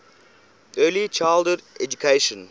early childhood education